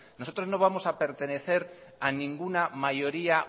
nosotros no vamos a pertenecer a ninguna mayoría